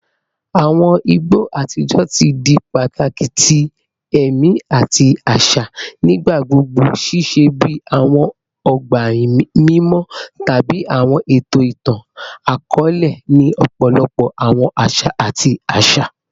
Awọn igbo atijọ ti di pataki ti ẹmi ati ti aṣa, nigbagbogbo ṣiṣẹ bi awọn ọgba mimọ tabi awọn eto itan-akọọlẹ ni ọpọlọpọ awọn aṣa ati aṣa.